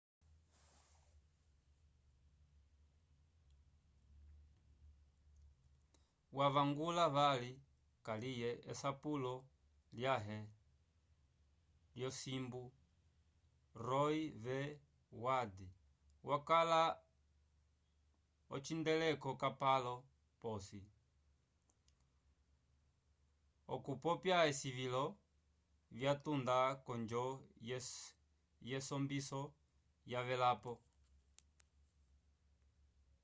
wavangula vali kaliye esapulo lyãhe lyosimbu roe v wade wakala ocihandeleko capalo posi okupopya esilivilo vyatunda k'onjo yesombiso yavelapo